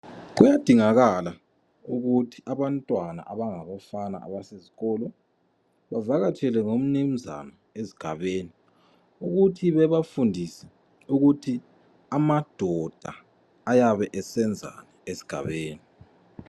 Kuyadingakala ukuthi abantwana abangabafana abasesikolo bavakatshelwe ngomnunzane esigabeni ukuthi bebafundise ukuthi amadoda ayabe esenzani esigabeni